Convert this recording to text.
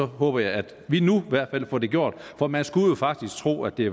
håber jeg at vi nu i hvert fald får det gjort for man skulle faktisk tro at det